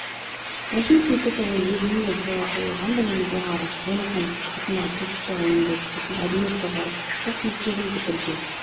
рашид бекітұлы евниев жылы туған білімі жоғары уәлиханов атындағы көкшетау университетін әділет жоғары құқық мектебін бітірген